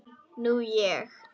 Nú ég.